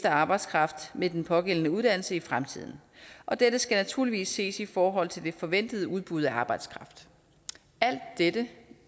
arbejdskraft med den pågældende uddannelse i fremtiden dette skal naturligvis ses i forhold til det forventede udbud af arbejdskraft alt dette